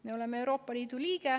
Me oleme Euroopa Liidu liige.